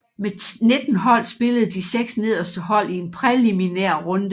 Med 19 hold spillede de seks nederste hold i en præliminær runde